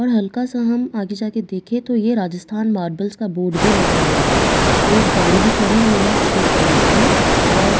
और हल्का सा हम आगे जाकर देखे तो यह राजस्थान मार्बल्‍स का बोर्ड भी लगा हुआ है एक गाड़ी भी खड़ी हुई है सफ़ेद कलर की और--